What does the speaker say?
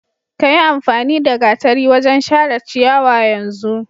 Ka yiamfani da gatari wajen share ciyawa yanzu!